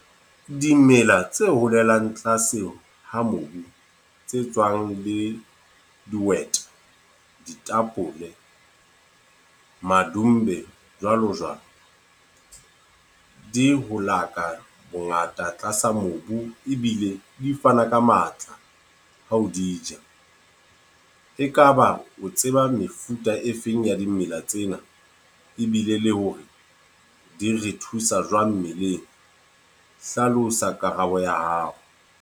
Dimela tse holelang tlase ha mobu, tse tswang le dihwete, ditapole, madumbe, jwalo jwalo. Di ho laka bongata tlasa mobu, ebile di fana ka matla ha o di ja. E kaba o tseba mefuta e feng ya dimela tsena, ebile le hore di re thusa jwang mmeleng? Hlalosa karabo ya hao.